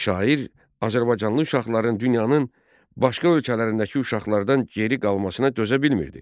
Şair azərbaycanlı uşaqların dünyanın başqa ölkələrindəki uşaqlardan geri qalmasına dözə bilmirdi.